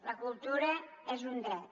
la cultura és un dret